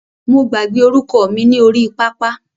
Mo gbàgbé orúkọ mi ni orí pápá.